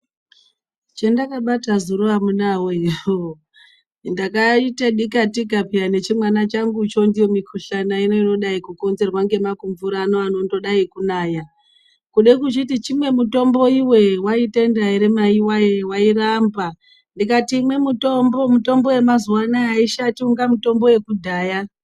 Chendakabata zuro amunawe hoo, ndakaite dikatika peya nechimwana changucho ndiyo mikhuhlani ino inodai kukonzerwa ngemakumvura anondodai kunaya kude kuchiti chimwe mutombo iwe waitenda ere maiwoye wairamba ndikati imwe mutombo, mutombo yemazuwanaya aishati inga mutombo yekudhaya.